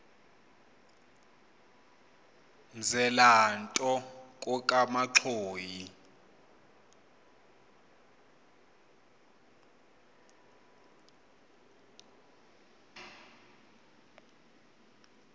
mzela nto kokamanxhoyi